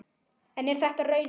En er þetta raunin?